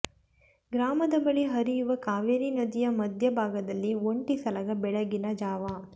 ಗ್ರಾಮದ ಬಳಿ ಹರಿಯುವ ಕಾವೇರಿ ನದಿಯ ಮಧ್ಯ ಭಾಗದಲ್ಲಿ ಒಂಟಿ ಸಲಗ ಬೆಳಗಿನ ಜಾವ